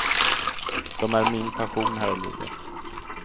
De är min passion här i livet.